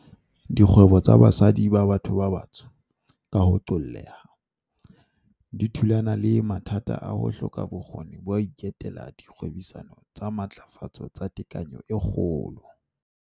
Dikgwebo tsa basadi ba batho ba batsho, ka ho qoolleha, di thulana le mathata a ho hloka bokgoni ba ho iketela dikgwebisano tsa matlafatso tsa tekanyo e kgolo.